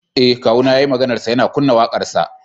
Eh kawuna yayi maganarsa yana kunna wakarsa.